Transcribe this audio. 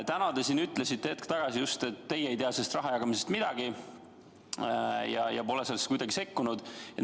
Te ütlesite just hetk tagasi, et teie ei tea selle raha jagamisest midagi ja pole sellesse kuidagi sekkunud.